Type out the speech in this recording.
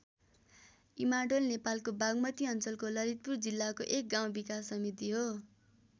इमाडोल नेपालको बागमती अञ्चलको ललितपुर जिल्लाको एक गाउँ विकास समिति हो।